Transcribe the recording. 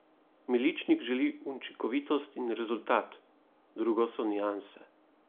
Miličnik želi učinkovitost in rezultat, drugo so nianse.